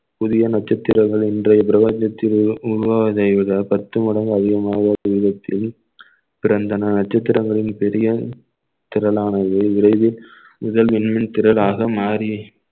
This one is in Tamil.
புதிய நட்சத்திரங்கள் இன்றைய பிரபஞ்சத்தில் உருவாவதை விட பத்து மடங்கு அதிகமாக ஒரு விதத்தில் பிறந்தன நட்சத்திரங்களில் பெரிய திரளானது விரைவில் இதன் எண்ணும் திரளாக மாறி